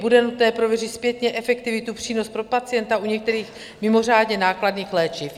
Bude nutné prověřit zpětně efektivitu, přínos pro pacienta u některých mimořádně nákladných léčiv.